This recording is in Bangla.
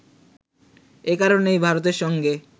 এ কারণেই ভারতের সঙ্গে